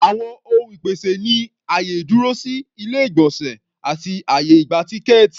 Àwọn ohun ìpèsè ni àyè ìdúrósí, ilé-ìgbọ̀nsẹ̀ àti àyè ìgba-tíkẹ́ẹ̀tì.